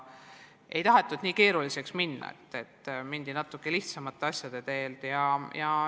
Ei tahetud nii keeruliseks minna, mindi natuke lihtsamate asjade teed.